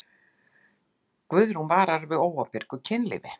Guðrún vara við óábyrgu kynlífi.